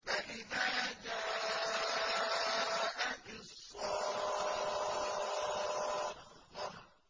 فَإِذَا جَاءَتِ الصَّاخَّةُ